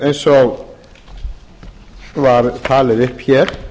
eins og var talið upp hér